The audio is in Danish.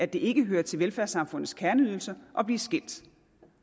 det ikke hører til velfærdssamfundets kerneydelser at blive skilt